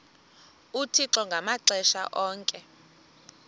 uthixo ngamaxesha onke